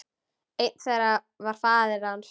Einn þeirra var faðir hans.